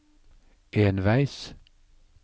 enveis